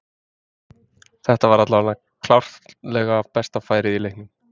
Þetta var allavega klárlega besta færið í leiknum.